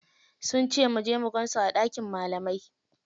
Sun cu muje mu gansu a ɗakin malamai.